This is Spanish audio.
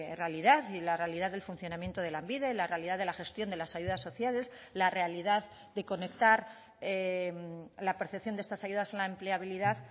realidad y la realidad del funcionamiento de lanbide la realidad de la gestión de las ayudas sociales la realidad de conectar la percepción de estas ayudas a la empleabilidad